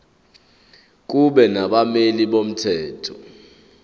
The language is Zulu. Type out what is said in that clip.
kube nabameli bomthetho